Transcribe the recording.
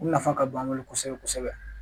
U nafa ka bon an bolo kosɛbɛ kosɛbɛ